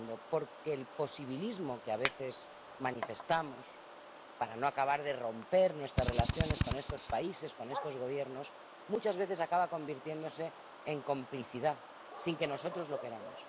Porque el posibilismo que a veces manifestamos para no acabar de romper nuestras relaciones con estos países, con estos Gobiernos, muchas veces acaba convirtiéndose en complicidad sin que nosotros lo queramos.